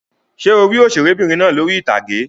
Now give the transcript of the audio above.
Ṣé o rí òṣèré'bìnrin náà lórí ìtàgé?